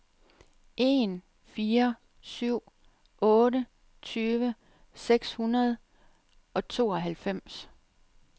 en fire syv otte tyve seks hundrede og tooghalvfems